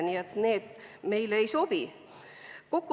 Need lahendused meile ei sobi.